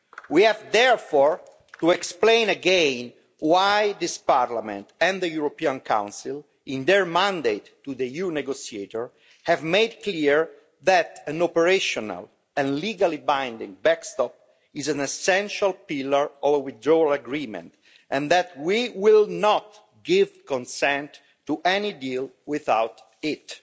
We have therefore to explain again why this Parliament and the European Council in their mandate to the EU negotiator have made clear that an operational and legally binding backstop is an essential pillar of a withdrawal agreement, and that we will not give consent to any deal without it.